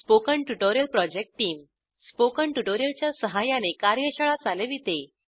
spoken tutorial project team spoken tutorial च्या सहाय्याने कार्यशाळा चालविते